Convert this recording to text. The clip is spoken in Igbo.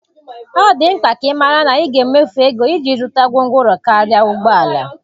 Ọ dị mkpa ka ị mara na ị ga-emefu ego iji zụta gwongworo karịa ụgbọ ala.